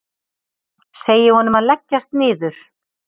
Segi honum að leggjast niður.